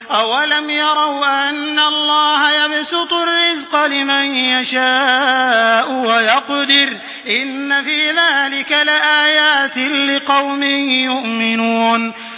أَوَلَمْ يَرَوْا أَنَّ اللَّهَ يَبْسُطُ الرِّزْقَ لِمَن يَشَاءُ وَيَقْدِرُ ۚ إِنَّ فِي ذَٰلِكَ لَآيَاتٍ لِّقَوْمٍ يُؤْمِنُونَ